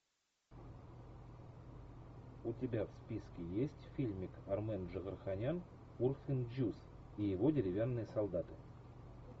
у тебя в списке есть фильмик армен джигарханян урфин джюс и его деревянные солдаты